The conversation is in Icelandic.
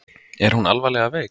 Er hún alvarlega veik?